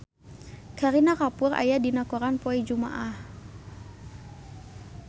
Kareena Kapoor aya dina koran poe Jumaah